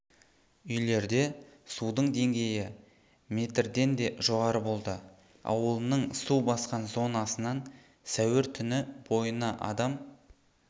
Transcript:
үйлерде судың деңгейі метрденде жоғары болды ауылының су басқан зонасынан сәуір түні бойына адам